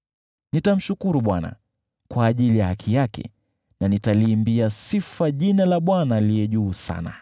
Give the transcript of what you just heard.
Nitamshukuru Bwana kwa ajili ya haki yake, na nitaliimbia sifa jina la Bwana Aliye Juu Sana.